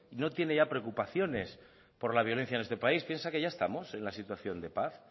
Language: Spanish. no tiene ya preocupaciones por la violencia en este país piensa que ya estamos en la situación de paz